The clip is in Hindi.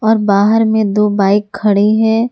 और बाहर में दो बाइक खड़े है।